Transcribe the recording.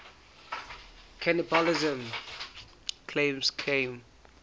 cannibalism claims came